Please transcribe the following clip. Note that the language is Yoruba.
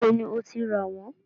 Níbo ni o ti rà wọ́n?